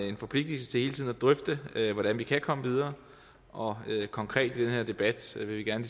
en forpligtigelse til hele tiden at drøfte hvordan vi kan komme videre og konkret i den her debat vil vi gerne